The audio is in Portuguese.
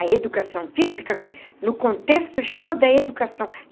A educação física no contexto geral da educação.